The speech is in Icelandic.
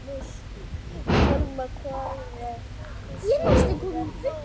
Telma: Hvaða svið verður það?